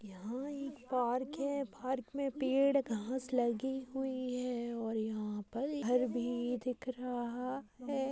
यहाँ एक पार्क है पार्क मैं पेड़ घांस लगी हुई है और यहाँ पर एक घर भी दिख रहा है।